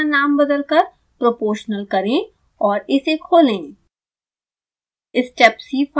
इस फोल्डर का नाम बदलकर proportional करें और इसे खोलें